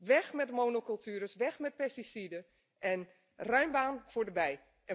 Weg met de monocultuur, weg met pesticiden en ruim baan voor de bij.